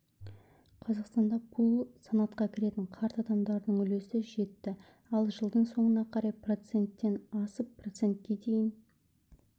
қазақстанда бұл санатқа кіретін қарт адамдардың үлесі жетті ал жылдың соңына қарай проценттен асып процентке дейін